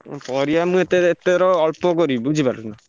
ଉଁ ପରିବା ମୁଁ ଏଥର ଅଳ୍ପ କରିବି ବୁଝିପାଇଲନା?